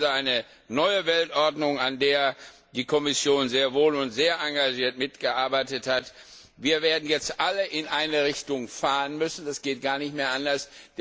Wir haben also eine neue Weltordnung, an der die Kommission sehr wohl und sehr engagiert mitgearbeitet hat. Wir werden jetzt alle in eine Richtung fahren müssen, das geht gar nicht mehr anders.